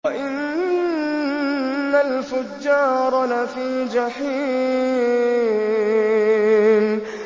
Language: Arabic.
وَإِنَّ الْفُجَّارَ لَفِي جَحِيمٍ